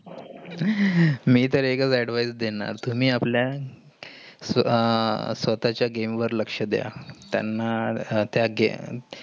मी तर एकच advice देणार. तुमी आपला आह स्वतःचे game वर लक्ष द्या. त्यानं त्या game